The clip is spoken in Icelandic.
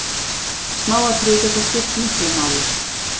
Smáatriði geta skipt miklu máli.